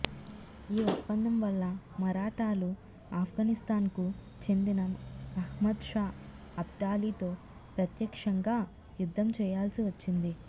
ఈ ఒప్పందం వల్ల మరాఠాలు ఆఫ్ఘనిస్థాన్కు చెందిన అహ్మద్ షా అబ్దాలీతో ప్రత్యక్షంగా యుద్ధం చేయాల్సి వచ్చింది